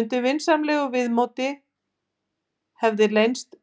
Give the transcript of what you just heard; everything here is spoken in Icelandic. Undir vinsamlegu viðmóti hefði leynst